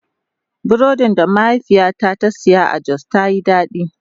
Burodin da mahaifiyata ta saya a Jos ta Yi daɗi.